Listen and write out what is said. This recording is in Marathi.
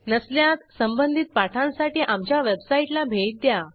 नसल्यास संबंधित पाठांसाठी आमच्या वेबसाईटला भेट द्या